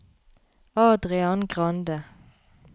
Adrian Grande